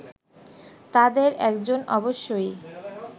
তাঁদের একজন অবশ্যই